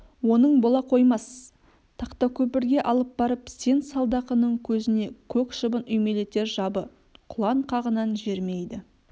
оның бола қоймас тақтакөпірге алып барып сен салдақының көзіне көк шыбын үймелетер жабы құлан қағынан жерімейді